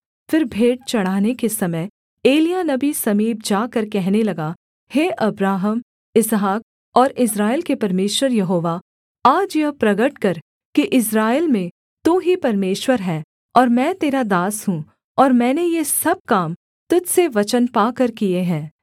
फिर भेंट चढ़ाने के समय एलिय्याह नबी समीप जाकर कहने लगा हे अब्राहम इसहाक और इस्राएल के परमेश्वर यहोवा आज यह प्रगट कर कि इस्राएल में तू ही परमेश्वर है और मैं तेरा दास हूँ और मैंने ये सब काम तुझ से वचन पाकर किए हैं